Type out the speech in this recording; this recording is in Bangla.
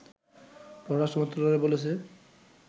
পররাষ্ট্র মন্ত্রণালয় বলেছে